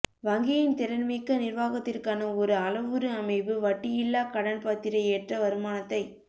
வங்கியின் திறன்மிக்க நிர்வாகத்திற்கான ஒரு அளவுரு அமைப்பு வட்டியில்லா கடன் பத்திர ஏற்ற வருமானத்தைக்